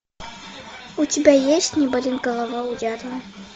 у тебя есть не болит голова у дятла